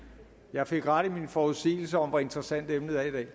jeg fik ret i mine forudsigelser om hvor interessant emnet er i dag